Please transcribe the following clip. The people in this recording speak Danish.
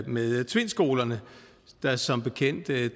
med tvindskolerne der som bekendt